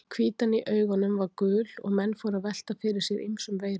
Hvítan í augunum var gul og menn fóru að velta fyrir sér ýmsum veirum.